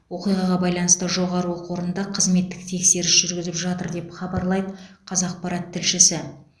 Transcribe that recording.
оқиғаға байланысты жоғары оқу орында қызметтік тексеріс жүріп жатыр деп хабарлайды қазақпарат тілшісі